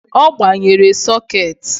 Ọ gbanyere sokeeti